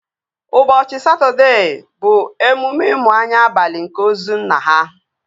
Ụbọchị Satọdee bụ emume imu anya abalị nke ozu nna ha